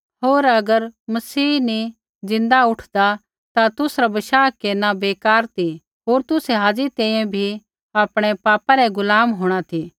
होर अगर मसीह नी ज़िन्दा उठदा ता तुसरा बशाह केरना बेकार ती होर तुसै हाज़ी तैंईंयैं भी आपणै पापा रै गुलाम होंणा ती